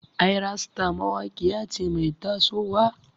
Ayra star mawaƙiya ce mai taso wa.